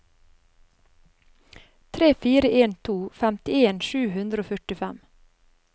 tre fire en to femtien sju hundre og førtifem